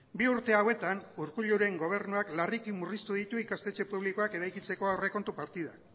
bi urte hauetan urkulluren gobernuan larriki murriztu ditu ikastetxe publikoak eraikitzeko aurrekontu partidak